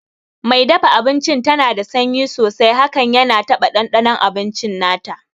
Mai dafa abinci dana da sanyi hakan yana taba ɗanɗanon abinci nata